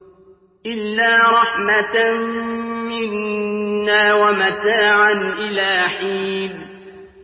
إِلَّا رَحْمَةً مِّنَّا وَمَتَاعًا إِلَىٰ حِينٍ